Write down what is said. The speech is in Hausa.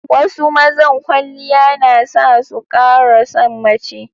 Wasu mazan kwaliya na sa su ƙara san mace.